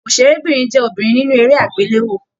Òṣèrébínrin jẹ obìnrin nínú eré agbelewo.